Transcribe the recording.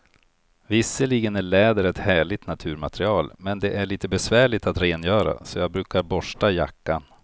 Visserligen är läder ett härligt naturmaterial, men det är lite besvärligt att rengöra, så jag brukar borsta jackan.